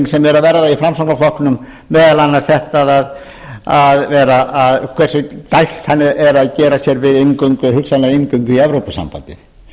sem er að verða í framsóknarflokknum meðal annars þetta hversu dælt hann er að gera sér við hugsanlega inngöngu í evrópusambandið